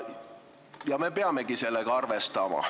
Ja me peamegi nendega arvestama.